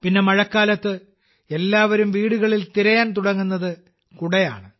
പിന്നെ മഴക്കാലത്ത് എല്ലാവരും വീടുകളിൽ തിരയാൻ തുടങ്ങുന്നത് കുടയാണ്